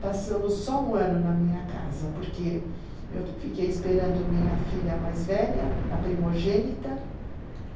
Passamos só um ano na minha casa, porque eu fiquei esperando minha filha mais velha, a primogênita.